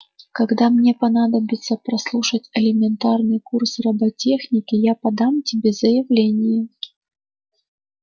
когда мне понадобится прослушать элементарный курс роботехники я подам тебе заявление